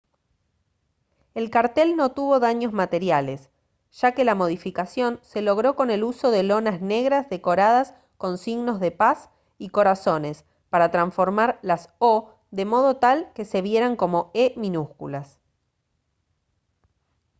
el cartel no tuvo daños materiales ya que la modificación se logró con el uso de lonas negras decoradas con signos de paz y corazones para transformar las «o» de modo tal que se vieran como «e» minúsculas